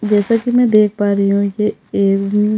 जैसा की में देख पा रही हु ये एक--